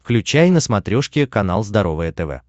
включай на смотрешке канал здоровое тв